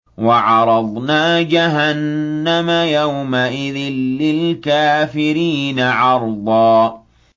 وَعَرَضْنَا جَهَنَّمَ يَوْمَئِذٍ لِّلْكَافِرِينَ عَرْضًا